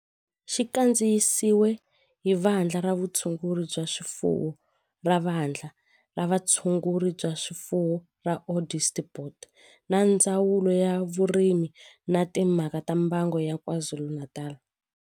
Xi kandziyisiwe hi Vandla ra Vutshunguri bya swifuwo ra Vandla ra Vutshunguri bya swifuwo ra Onderstepoort na Ndzawulo ya Vurimi na Timhaka ta Mbango ya KwaZulu-Natal.